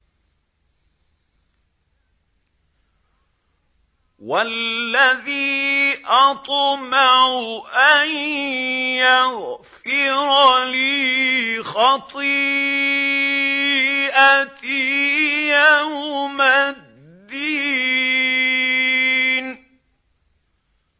وَالَّذِي أَطْمَعُ أَن يَغْفِرَ لِي خَطِيئَتِي يَوْمَ الدِّينِ